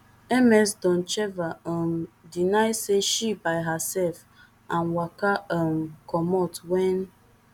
ms doncheva um deny say she by hersef and waka um comot wen